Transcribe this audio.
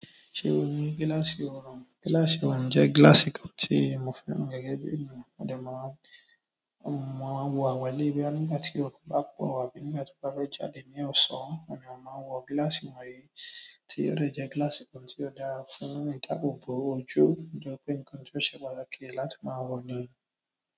Ṣé o ní gílàsì òòrùn? Gílàsì òòrùn jẹ́ gílàsì kan tí mo fẹ́ràn gẹ́gẹ́ bí ènìyàn. Mo máa ń wọ̀ àwọn eléyìí bóyá nígbà tí oòrùn bá pọ̀ àbí nígbà tí mo bá fẹ jáde ní ọ̀sán, ni mo máa ń wọ gílàsì wọ̀nyí, tí ó dẹ̀ jẹ́ gílàsì kan tí ó dára fún ìdáàbòbò ojú, lo fi jẹ wípé nǹkan tí ó ṣe pàtàkì láti máa wọ̀ ni.